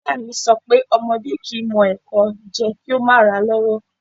Iya mi so pé ọmọdẹ́ kìí mọ ẹ̀kọ jẹ kìí o ma ra lọ́wọ́'